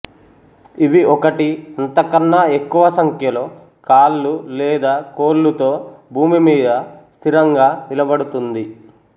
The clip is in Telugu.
ఇవి ఒకటి అంతకన్నా ఎక్కువ సంఖ్యలో కాళ్ళు లేదా కోళ్ళుతో భూమిమీద స్థిరంగా నిలబడుతుంది